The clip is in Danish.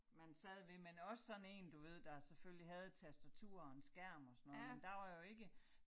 Man sad ved men også sådan én du ved der selvfølgelig havde et tastatur og en skærm og sådan noget men der var jo ikke